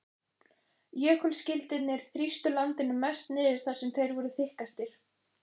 Jökulskildirnir þrýstu landinu mest niður þar sem þeir voru þykkastir.